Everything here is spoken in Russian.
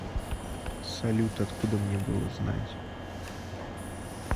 салют откуда мне было знать